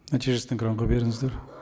нәтижесін экранға беріңіздер